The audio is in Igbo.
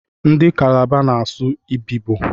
Ndị kalabar na-asụ Ibibo.